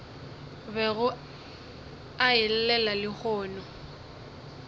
bego a e llela lehono